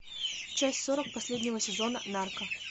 часть сорок последнего сезона нарко